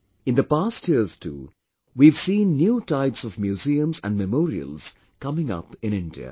In the past years too, we have seen new types of museums and memorials coming up in India